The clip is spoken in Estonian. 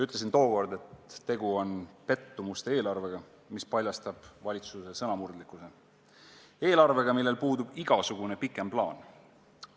Ütlesin tookord, et tegu on pettumuste eelarvega, mis paljastab valitsuse sõnamurdlikkuse, eelarvega, millel puudub igasugune plaan.